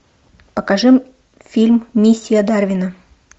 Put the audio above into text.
покажи фильм миссия дарвина